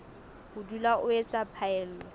ho dula o etsa phaello